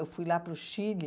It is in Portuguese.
Eu fui lá para o Chile.